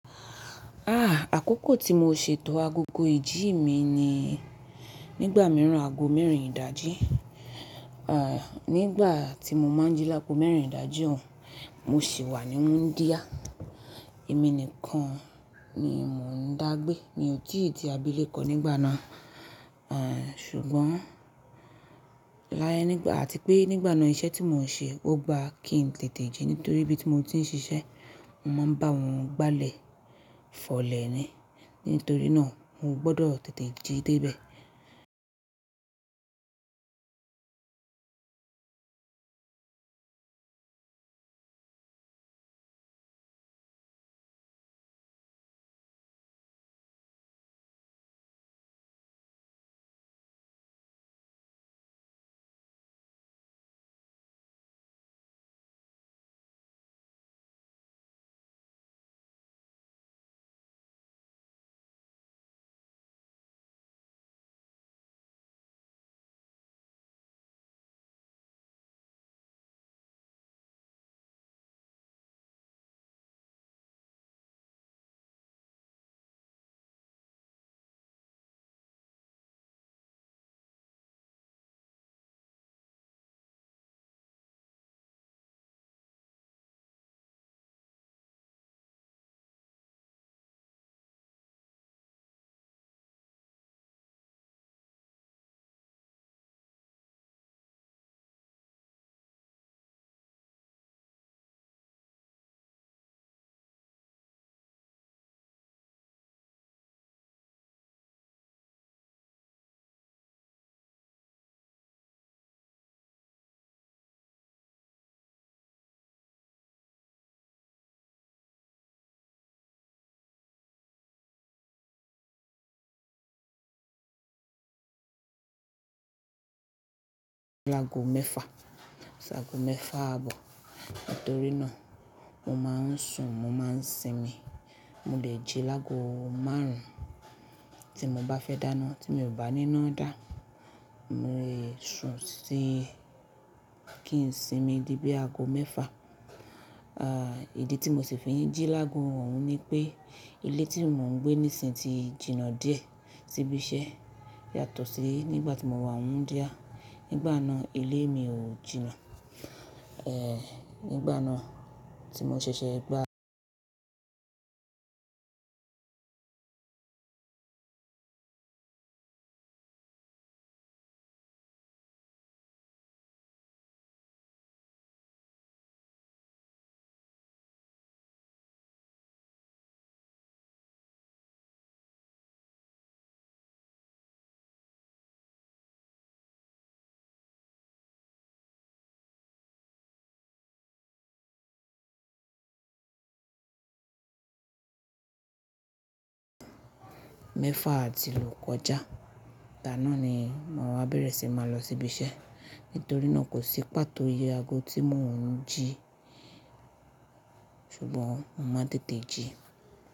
À, àkókò tí mo ṣètò agogo ìjí mi ni nígbà mìíràn aago mẹ́rin ìdájí. À, nígbà tí mo máa jí láago mẹ́rin ìdájí òun, mo sì wà ní wúndia. Èmi nìkan ni mò ń dá gbé. Mi ò tí ì ti abíléko nígbà náà. À, ṣùgbọ́n láyé nígbà àti pé nígbà náà iṣẹ́ tí mò ń ṣe ó gba kí n tètè jí nítorí ibi tí mo ti ń ṣiṣẹ́, mo máa ń bá wọn gba’lẹ̀, fọlẹ̀ ni. Nítorí náà mo gbọdọ̀ tètè jí dé ibẹ̀. Lágo mẹ́fa, ṣágo mẹ́fa àbọ̀. Nítorí náà mo máa ń sùn, mo máa ń sinmi. Mo lè jí lágo márùn-ún tí mo bá fẹ́ dáná tí mi ò bá níná dá. Mo lè sùn sí kí n sinmi díbí aago mẹ́fa. À, ìdí tí mo ṣì fi ń jí lágo òun ni pé ilé tí mò ń gbé nísinsinyí ti jìnnà díẹ̀ síbi iṣẹ́ yàtọ̀ sí nígbà tí mo wà wúndia. Nígbà náà ilé mi ò jìnnà. Ẹ̀, nígbà náà tí mo ṣẹ̀ṣẹ̀ gba mẹ́fa àti lóko já. Ìgbà ná ni màá wá bẹ̀rẹ̀ sí máa lọ sí ibi iṣẹ́. Nítorí náà kò sí pàtó iye aago tí mò ń jí ṣùgbọ́n mo máa tètè jí.